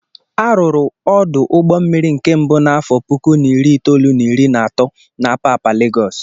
Arụrụ ọdụ ụgbọ mmiri nke mbụ n'afọ puku na iri itolu na iri na atọ na Apapa Legọs.